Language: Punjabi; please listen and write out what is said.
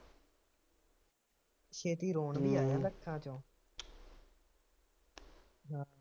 ਛੇਤੀ ਲੋਟ ਨਹੀਂ ਆਇਆ ਹੱਥਾ ਚੋਂ ਹਾਂ